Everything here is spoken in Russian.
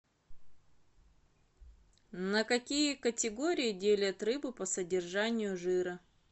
на какие категории делят рыбу по содержанию жира